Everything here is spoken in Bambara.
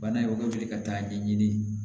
Bana ye joli ka taa ɲɛɲini